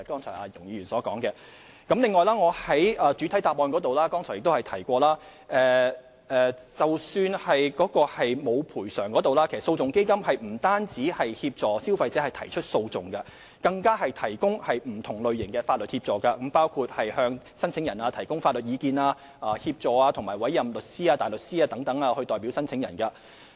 此外，我剛才在主體答覆中提到，即使個案並無賠償可能，但在商戶倒閉前，基金其實不但會協助消費者提出訴訟，更會提供不同類型的法律協助，包括為申請人提供法律意見，以及協助委任律師或大律師代表申請人。